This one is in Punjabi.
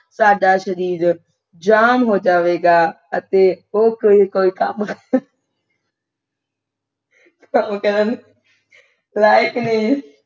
ਸਾਡਾ ਸ਼ਰੀਰ ਜਾਮ ਹੋ ਜਾਵੇਗਾ ਅਤੇ ਉਹ ਕੋਈ ਕੋਈ ਕੰਮ ਕਰ ਕਮ ਕਰਨ ਲਾਇਕ ਨਹੀਂ